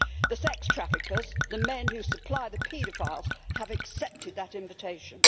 The sex traffickers the men who supply the paedophiles have accepted that invitation.